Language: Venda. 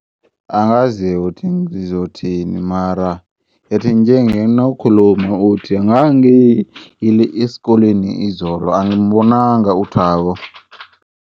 Angazike ngizothini mara ithinje nginok'khuluma uthingangiyile eskoleni izolo angimbonanga u Thabo